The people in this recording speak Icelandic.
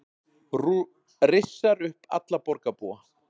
Rissar upp alla borgarbúa